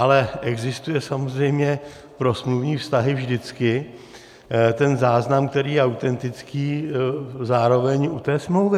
Ale existuje samozřejmě pro smluvní vztahy vždycky ten záznam, který je autentický, zároveň u té smlouvy.